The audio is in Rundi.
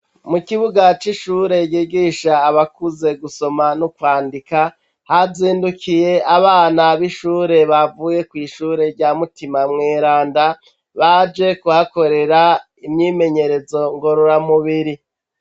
Mukibuga c’ishure ryigisha abakuze gusoma no kwandika, hazindukiye abana bishure bavuye kwishure rya mutima mweranda baje kuhakorera imyimenyerezo ngorora mubiri.